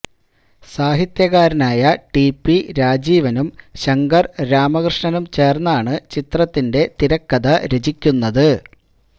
സാഹിത്യകാരനായ T P രാജീവനും ശങ്കര് രാമകൃഷ്ണനും ചേര്ന്നാണ് ചിത്രത്തിന്റെ തിരക്കഥ രചിക്കുന്നത്